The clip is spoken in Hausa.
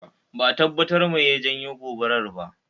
Ba'a tabbatar mai ya janyo gobar ba